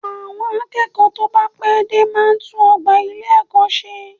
Àwọn akẹ́kọ̀ọ́ tó bá pẹ́ dé máa tún ọgbà ilé-ẹ̀kọ́ ṣe